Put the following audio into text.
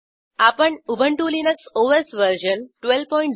आपण Ubuntu Linux OS version 1204